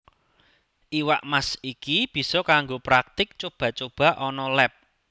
Iwak Mas iki bisa kanggo praktik cuba cuba ana leb